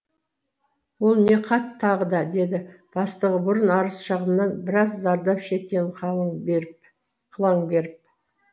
ол не хат тағы да деді бастығы бұрын арыз шағымнан біраз зардап шеккені қылаң беріп